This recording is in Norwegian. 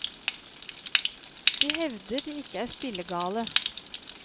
De hevder de ikke er spillegale.